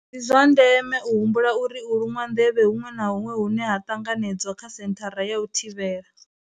Ndi zwa ndeme u humbula uri u luṅwa nḓevhe huṅwe na huṅwe hune ha ṱanganedzwa kha senthara ya u thivhela.